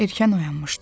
Erkən oyanmışdım.